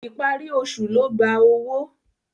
Ìparí oṣù ló gba owó.